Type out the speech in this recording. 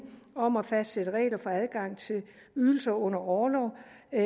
om at fastsætte regler for adgang til ydelser under orlov